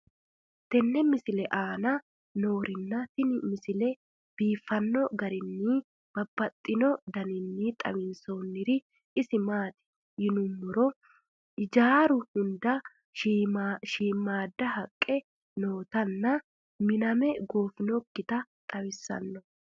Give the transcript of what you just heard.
tenne misile aana noorina tini misile biiffanno garinni babaxxinno daniinni xawissannori isi maati yinummoro hijjaru hunda shiimmada haqqe nootti nna miname goonfokitta xawissanno.